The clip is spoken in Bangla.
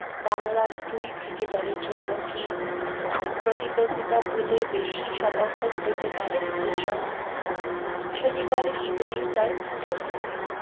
বাংলার দুই ক্রিকেটার এর জন্য কি প্রতিদ্বন্দিতা ভুলে বেশি সমর্থন পেতে পারে গুজরাট, শনিবারে ইডেনেই তার উত্তর দিবে